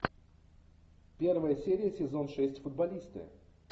первая серия сезон шесть футболисты